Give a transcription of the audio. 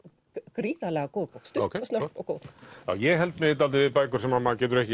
gríðarlega góð bók stutt snörp og góð ég held mig dálítið við bækur sem maður getur ekki